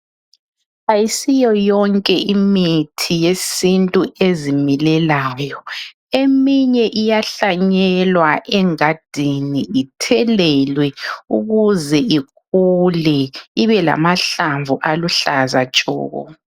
Asiyo yonke imithi yesintu ezimelelayo. Iminye iyahlanyelwa egadini ithelelwe ukuze ikule ibe lamahlamvu aluhlza tshoko.